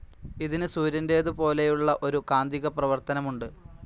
ഇതിന് സൂര്യൻ്റേതുപോലെയുള്ള ഒരു കാന്തിക പ്രവർത്തനമുണ്ട്.